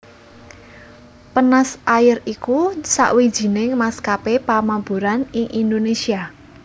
Penas Air iku sawijining maskapé pamaburan ing Indonésia